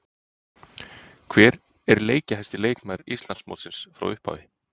Hver er leikjahæsti leikmaður Íslandsmótsins frá upphafi?